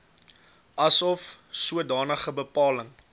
asof sodanige bepaling